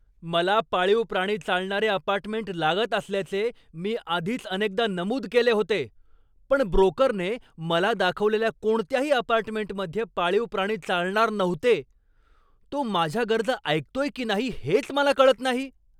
मला पाळीव प्राणी चालणारे अपार्टमेंट लागत असल्याचे मी आधीच अनेकदा नमूद केले होते. पण ब्रोकरने मला दाखवलेल्या कोणत्याही अपार्टमेंटमध्ये पाळीव प्राणी चालणार नव्हते. तो माझ्या गरजा ऐकतोय की नाही हेच मला कळत नाही.